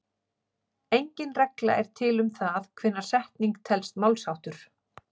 Engin regla er til um það hvenær setning telst málsháttur.